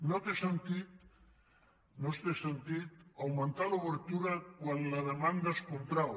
no té sentit augmentar l’obertura quan la demanda es contrau